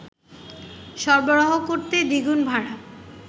সরবরাহ করতে দ্বিগুণ ভাড়া